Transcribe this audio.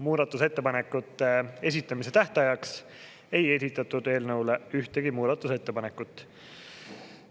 Muudatusettepanekute esitamise tähtajaks ei esitatud eelnõule ühtegi muudatusettepanekut.